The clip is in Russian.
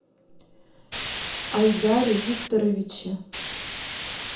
айдаре викторовиче